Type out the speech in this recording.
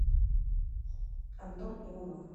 антон иванов